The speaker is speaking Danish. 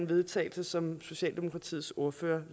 vedtagelse som socialdemokratiets ordfører